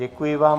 Děkuji vám.